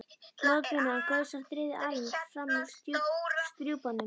Blóðbunan gaus á þriðju alin fram úr strjúpanum.